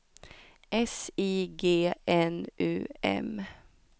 S I G N U M